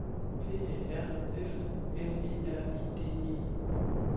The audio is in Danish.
P A R F U M E R E D E